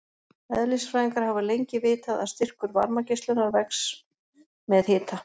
Eðlisfræðingar hafa lengi vitað að styrkur varmageislunar vex með hita.